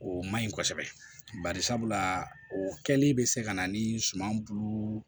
O man ɲi kosɛbɛ bari sabula o kɛlen bɛ se ka na ni suman bulu